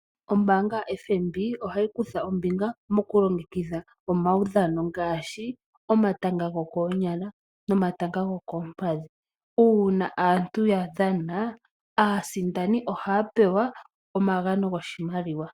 Ombaanga yoFNB ohayi okutha ombinga mokulongekidha omaudhano ngaashi: omatanga gokoonyala, nomatanga gokoompadhi. Uuna aantu ya dhana, aasidani ohaya pewa omagano goshimaliwa.